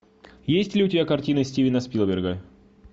есть ли у тебя картины стивена спилберга